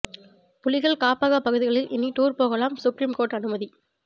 புலிகள் காப்பக பகுதிகளில் இனி டூர் போகலாம் சுப்ரீம் கோர்ட் அனுமதி